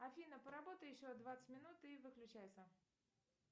афина поработай еще двадцать минут и выключайся